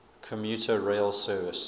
commuter rail service